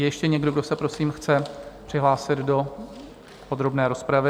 Je ještě někdo, kdo se prosím chce přihlásit do podrobné rozpravy?